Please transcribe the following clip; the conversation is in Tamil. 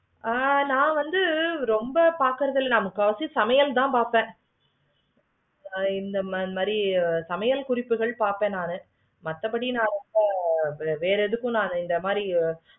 ஆஹ் நா வந்து ரொம்ப பார்க்குறது இல்லை. முக்காவாசி சமையல் தான் பார்ப்பேன். இந்த மாதிரி சமயல் குறிப்பு தான் பார்ப்பேன். வேற எது இந்த மாதிரி